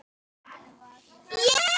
Hrærið stöðugt í.